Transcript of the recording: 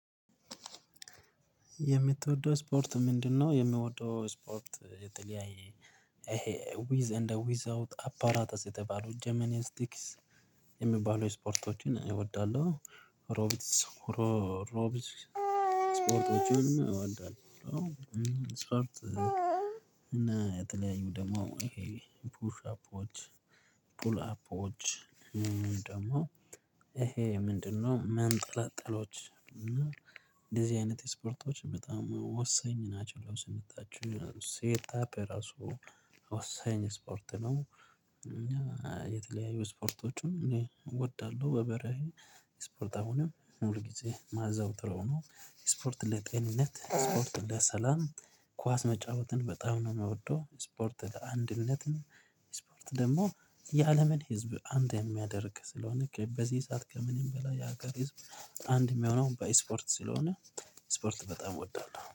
የምትወደው እስፖርት ምንድነው? የምወደው እስፖርት የተለያየ ይሄ ዊዝ እንደ ዊዝ አውት አፓራታስ የተባሉ ጀመኒስቲክስ የሚባሉ እስፖርቶችን እወዳለሁ። ሮቢትስ እስፖርቶችንም እወዳለሁ። እስፖርት እና የተለያዩ ፑሽ አፖች ፑል አፖች ደሞ ይሄ ምንድነው መንጠላጠሎች እና እንደዚህ አይነት እስፖርቶች በጣም ወሳኝ ናቸው ለሰውነታችን ሴት አፕ ራሱ ወሳኝ እስፖርት ነው። እና የተለያዩ እስፖርቶችም እኔ እወዳለሁ በበረሄ እስፖርት አሁንም ሁል ጊዜ ማዘወትረው ነው። እስፖርት ለጤንነት እስፖርት ለሰላም። ኳስ መጫወትን በጣም ነው የምወደው እስፖርት ለአንድነትም። እስፖርት ደግሞ የአለምን ህዝብ አንድ የሚያደርግ ስለሆነ በዚህ ሰዓት ከምንም በላይ የሀገር ህዝብ አንድ የሚሆነው በእስፖርት ስለሆነ ስፖርት በጣም እወዳለሁ